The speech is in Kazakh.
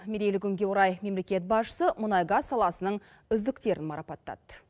мерейлі күнге орай мемлекет басшысы мұнай газ саласының үздіктерін марапаттады